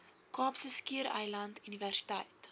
kaapse skiereiland universiteit